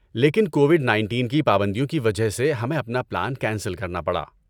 لیکن Covid nineteen کی پابندیوں کی وجہ سے ہمیں اپنا پلان کینسل کرنا پڑا